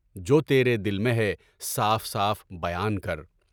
جو تیرے دل میں ہے، صاف صاف بیان کر۔